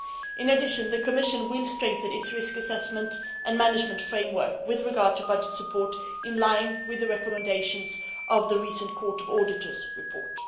In addition the Commission will strengthen its risk assessment and management framework with regard to budget support in line with the recommendations of the recent Court of Auditors report.